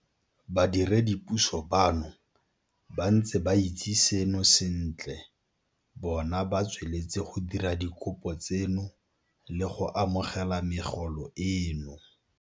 Badiredipuso bano ba ntse ba itse seno sentle bona ba tsweletse go dira dikopo tseno le go amogela megolo eno.